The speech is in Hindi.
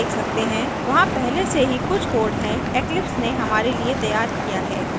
जैसा कि हम देख सकते हैं वहाँ पहले से ही कुछ code है eclipse ने हमारे लिए तैयार किया है